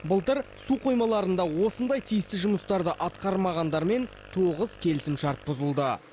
былтыр су қоймаларында осындай тиісті жұмыстарды атқармағандармен тоғыз келісімшарт бұзылды